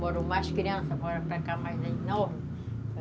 Moram mais crianças, moram para cá mais novos.